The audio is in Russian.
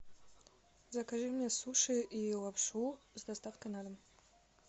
закажи мне суши и лапшу с доставкой на дом